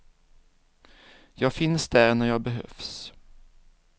Jag finns där när jag behövs.